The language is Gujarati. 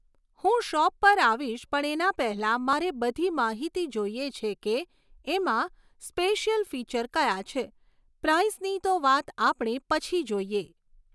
હું શૉપ પર આવીશ પણ એના પહેલાંં મારે બધી માહિતી જોઈએ છે કે એમાં સ્પેસીઅલ ફીચર ક્યાં છે પ્રાઈસની તો વાત આપણે પછી જોઈએ